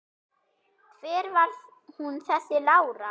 Hver var hún þessi Lára?